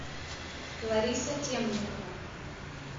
лариса темникова